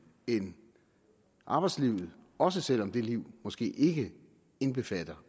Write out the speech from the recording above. end arbejdslivet også selv om det liv måske ikke indbefatter